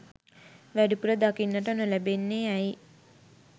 වැඩිපුර දකින්නට නොලැබෙන්නේ ඇයි?